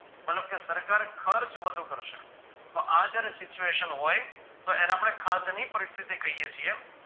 મતલબ કે સરકાર ખર્ચ વધુ કરશે તો આ જયારે secuvetion હોઈ તો એને આપણે ખાદ્યની પરિસ્થિતિ કહીએ છીએ.